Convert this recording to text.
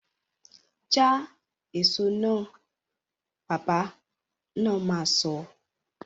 Ja èso náà! Bàbá na ma sọ